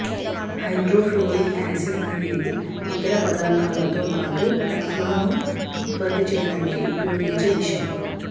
hydrofluoric acid అనేది ఇతర పదార్థాలతో పాటు టెఫ్లాన్ను ఉత్పత్తి చేయడానికి ఉపయోగించే విషం